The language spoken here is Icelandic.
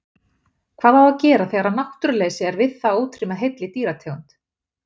Hvað á að gera þegar náttúruleysi er við það að útrýma heilli dýrategund?